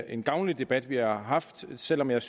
en gavnlig debat vi har haft selv om jeg